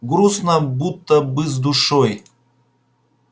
грустно будто бы с душой